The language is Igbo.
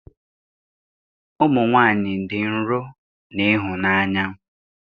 Ụmụ nwanyị dị nro na ịhụnanya